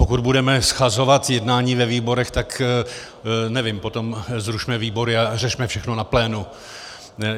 Pokud budeme shazovat jednání ve výborech, tak nevím, potom zrušme výbory a řešme všechno na plénu.